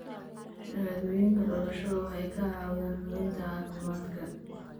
Shahaadooyinka dhalashada waxay kaa caawinayaan hubinta caafimaadka.